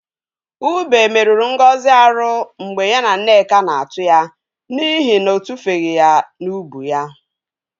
Ube meruru Ngozi arụ mgbe ya na Nneka na-atụ ya n'ihi na ọ tufeghi ya n'ubu ya.